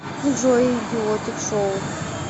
джой идиотик шоу